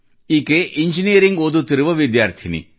ಈಕೆ ಇಂಜಿನಿಯರಿಂಗ್ ಓದುತ್ತಿರುವ ವಿದ್ಯಾರ್ಥಿನಿ